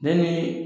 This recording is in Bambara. Bɛɛ ni